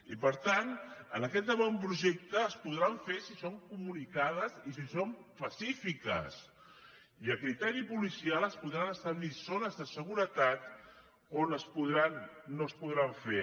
i per tant amb aquest avantprojecte es podran fer si són comunicades i si són pacífiques i a criteri policial es podran establir zones de seguretat on no es podran fer